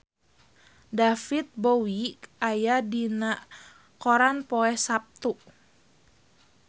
David Bowie aya dina koran poe Saptu